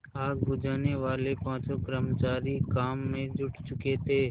आग बुझानेवाले पाँचों कर्मचारी काम में जुट चुके थे